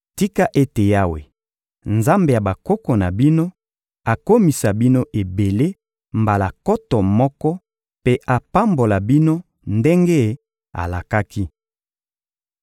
Tika ete Yawe, Nzambe ya bakoko na bino, akomisa bino ebele mbala nkoto moko mpe apambola bino ndenge alakaki!